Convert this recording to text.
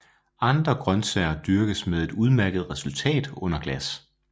Andre grøntsager dyrkes med et udmærket resultat under glas